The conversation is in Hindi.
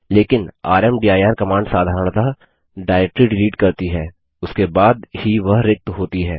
लेकिन रामदीर कमांड साधरणतः डाइरेक्टरी डिलीट करती है उसके बाद ही वह रिक्त होती है